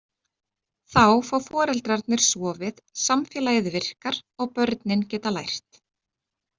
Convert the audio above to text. Þá fá foreldrarnir sofið, samfélagið virkar og börnin geta lært.